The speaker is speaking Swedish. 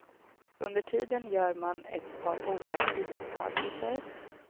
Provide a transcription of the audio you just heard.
Under tiden gör man ett par ovana iakttagelser.